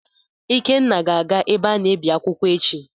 Ikenna ga-aga ebe a na-ebi akwụkwọ echi.